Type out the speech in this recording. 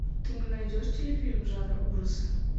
ты мне найдешь телефильм жанра ужасы